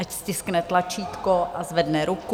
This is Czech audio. Ať stiskne tlačítko a zvedne ruku.